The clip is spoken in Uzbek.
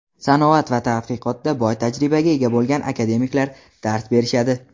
sanoat va tadqiqotda boy tajribaga ega bo‘lgan akademiklar dars berishadi.